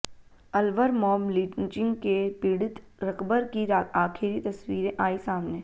Alwar mob lynching के पीड़ित रकबर की आखिरी तस्वीरें आई सामने